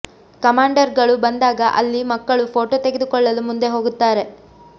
commander ಗಳು ಬಂದಾಗ ಅಲ್ಲಿ ಮಕ್ಕಳು ಪೋಟೋ ತೆಗೆದುಕೊಳ್ಳಲು ಮುಂದೆ ಹೋಗುತ್ತಾರೆ